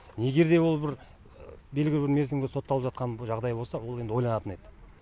егер де ол бір белгілі бір мерзімге сотталып жатқан жағдай болса ол енді ойланатын еді